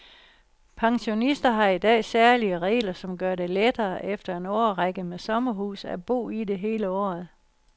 Pensionister har i dag særlige regler, som gør det lettere efter en årrække med sommerhus at bo i det hele året.